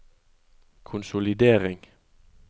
konsolidering